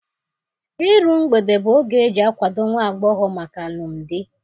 Iru mgbede bụ oge eji akwado nwa agbọghọ maka alụmdi.